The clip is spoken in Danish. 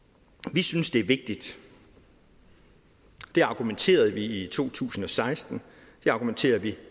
vi synes det er vigtigt det argumenterede vi for i to tusind og seksten det argumenterer vi